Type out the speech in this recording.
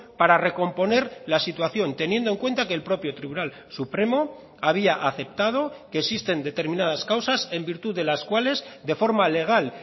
para recomponer la situación teniendo en cuenta que el propio tribunal supremo había aceptado que existen determinadas causas en virtud de las cuales de forma legal